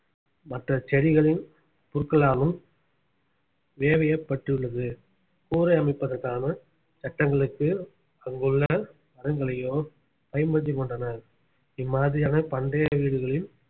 மற்ற செடிகளின் புற்களாலும் வேயப்பட்டுள்ளது கூரை அமைப்பதற்கான சட்டங்களுக்கு அங்குள்ள மரங்களையோ பயன்படுத்திக் கொண்டனர் இம்மாதிரியான பண்டைய வீடுகளில்